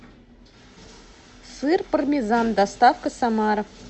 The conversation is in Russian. сыр пармезан доставка самара